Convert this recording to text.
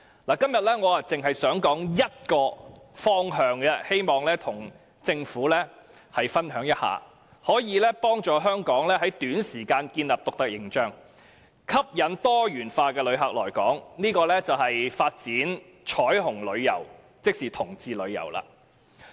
我今天只想談一個方向，希望與政府分享一下，以幫助香港在短時間內建立獨特形象，吸引不同類型的旅客來港，便是發展彩虹旅遊，即同志旅遊。